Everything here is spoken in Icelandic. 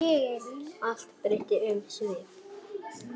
Allt breytti um svip.